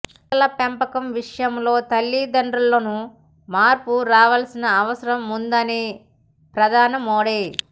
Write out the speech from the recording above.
పిల్లల పెంపకం విషయంలో తలిదండ్రుల్లోనూ మార్పు రావాల్సిన అవసరం ముందని ప్రధాని మోడీ